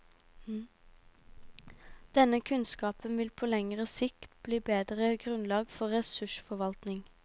Denne kunnskapen vil på lengre sikt gi bedre grunnlag for ressursforvaltning.